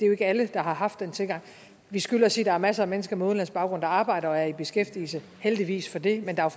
jo ikke alle der har haft den tilgang vi skylder at sige at der er masser af mennesker med udenlandsk baggrund der arbejder og er i beskæftigelse heldigvis for det men der er